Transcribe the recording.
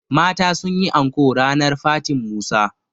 mata sun yi anko ranar fatin Musa